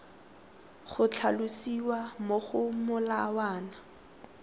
go tlhalosiwa mo go molawana